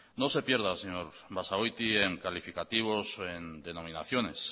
no se pierda señor basagoiti en calificativos o en denominaciones